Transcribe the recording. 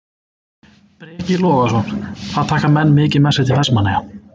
Breki Logason: Hvað taka menn mikið með sér til Vestmannaeyja?